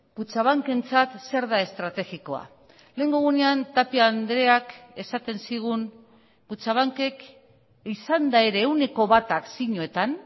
kutxabankentzat zer da estrategikoa lehengo egunean tapia andreak esaten zigun kutxabankek izanda ere ehuneko bata akzioetan